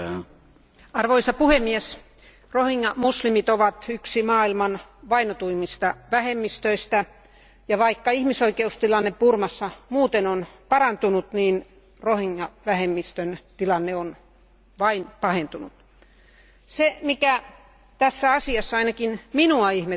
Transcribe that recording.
Arvoisa puhemies, rohingya muslimit ovat yksi maailman vainotuimmista vähemmistöistä, ja vaikka ihmisoikeustilanne Burmassa muuten on parantunut, niin rohingya vähemmistön tilanne on vain pahentunut. Se, mikä tässä asiassa ainakin minua ihmetyttää